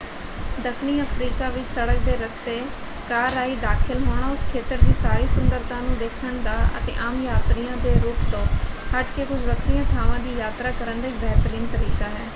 ਦੱਖਣੀ ਅਫ਼ਰੀਕਾ ਵਿੱਚ ਸੜਕ ਦੇ ਰਸਤੇ ਕਾਰ ਰਾਹੀਂ ਦਾਖ਼ਲ ਹੋਣਾ ਉਸ ਖੇਤਰ ਦੀ ਸਾਰੀ ਸੁੰਦਰਤਾ ਨੂੰ ਦੇਖਣ ਦਾ ਅਤੇ ਆਮ ਯਾਤਰੀਆਂ ਦੇ ਰੂਟ ਤੋਂ ਹੱਟ ਕੇ ਕੁਝ ਵੱਖਰੀਆਂ ਥਾਵਾਂ ਦੀ ਯਾਤਰਾ ਕਰਨ ਦਾ ਇੱਕ ਬਿਹਤਰੀਨ ਤਰੀਕਾ ਹੈ।